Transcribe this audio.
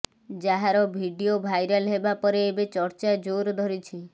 ଯାହାର video viral ହେବା ପରେ ଏବେ ଚର୍ଚ୍ଚା ଜୋର ଧରିଛି